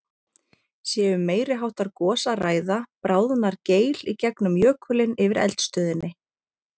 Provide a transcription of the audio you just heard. Sé um meiri háttar gos að ræða, bráðnar geil í gegnum jökulinn yfir eldstöðinni.